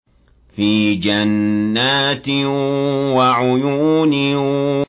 فِي جَنَّاتٍ وَعُيُونٍ